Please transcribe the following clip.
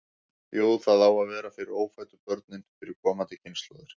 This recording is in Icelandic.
Jú, það á að vera fyrir ófæddu börnin, fyrir komandi kynslóðir.